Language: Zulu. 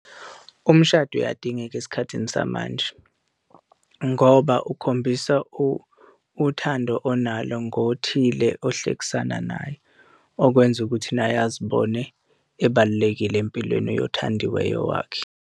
Umshado uyadingeka esikhathini samanje ngoba ukhombisa uthando onalo ngothile ohlekisana naye, okwenza ukuthi naye azibone ebalulekile empilweni yothandiweyo wakhe.